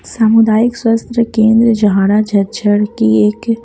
सामुदायिक स्वस्थ केंद्र झाड़ा झज्झड़ की एक --